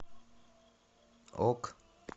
ок